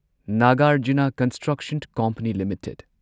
Nagarjuna, company construction company limited